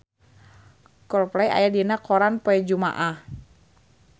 Coldplay aya dina koran poe Jumaah